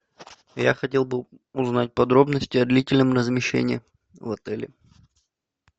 я хотел бы узнать подробности о длительном размещении в отеле